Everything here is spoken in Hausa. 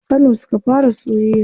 A kano suka fara soyayya.